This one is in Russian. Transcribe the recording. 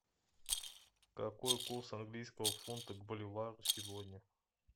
какой курс английского фунта к боливару сегодня